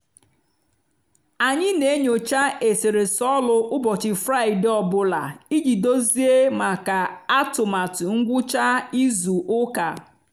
anyị n'enyocha eserese ọlụ ụbọchị fraịde ọ bụla iji dozie maka atụmatụ ngwucha izu ụka.